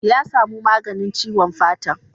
Ya samu maganin ciwon fatan.